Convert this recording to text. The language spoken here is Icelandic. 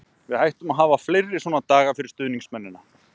Við ættum að hafa fleiri svona daga fyrir stuðningsmennina.